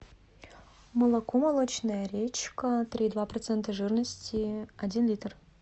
молоко молочная речка три и два процента жирности один литр